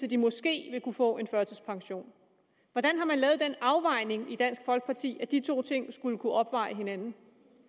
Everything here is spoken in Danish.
de måske vil kunne få en førtidspension hvordan har man lavet den afvejning i dansk folkeparti at de to ting skulle kunne opveje hinanden